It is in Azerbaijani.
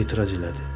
Əri etiraz elədi.